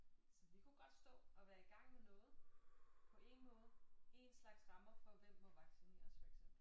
Så vi kunne godt stå og være i gang med noget på en måde en slags rammer for hvem må vaccineres for eksempel